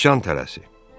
Sican tələsi.